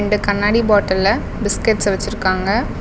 இந்த கண்ணாடி பாட்டில்ல பிஸ்கட்ஸ்ஸ வச்சுருக்காங்க.